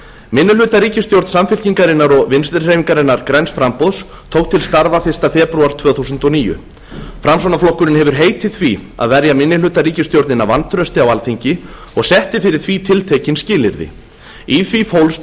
minnihlutaríkisstjórn samfylkingarinnar og vinstri hreyfingarinnar græns framboðs tók til starfa fyrsta febrúar tvö þúsund og níu framsóknarflokkurinn hefur heitið því að verja minnihlutaríkisstjórnina vantrausti á alþingi og setti fyrir því tiltekin skilyrði í því fólst fyrst